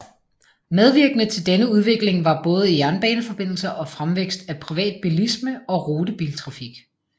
Medvirkende til denne udvikling var både jernbaneforbindelser og fremvækst af privat bilisme og rutebiltrafik